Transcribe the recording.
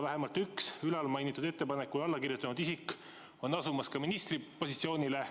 Vähemalt üks mainitud ettepanekule alla kirjutanud isik asub ju ka ministripositsioonile.